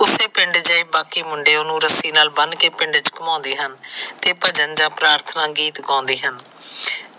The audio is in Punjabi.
ਉਸੇ ਪਿੰਡ ਦੇ ਬਾਕੀ ਮੁੰਡੇ ਓਹਨੂੰ ਰੱਸੀ ਨਾਲ ਬੰਨ ਕੇ ਪਿੰਡ ਚ ਘਮੁੰਦੇ ਹਨ ਤੇ ਭਜਨ ਜਾ ਪਰਾਥਨਾ ਗੀਤ ਗਾਉਂਦੇ ਹਨ।